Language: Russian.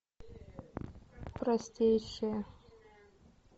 простейшие